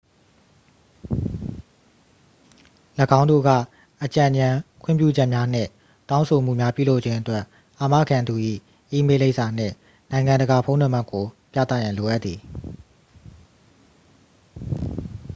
၎င်းတို့က အကြံဉာဏ်/ခွင့်ပြုချက်များနှင့် တောင်းဆိုမှုများ ပြုလုပ်ခြင်းအတွက် အာမခံသူ၏ အီးမေးလ်လိပ်စာနှင့် နိုင်ငံတကာ ဖုန်းနံပါတ်ကို ပြသရန် လိုအပ်သည်။